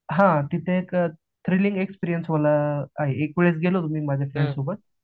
हा तिथेच thrilling experience होणार एक वेळेस गेलो होतो मी माझ्या फ्रेंड सोबत